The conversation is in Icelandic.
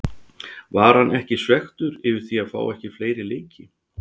Var hann ekki svekktur yfir því að fá ekki fleiri leiki?